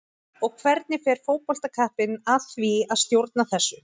Og hvernig fer fótboltakappinn að því að stjórna þessu?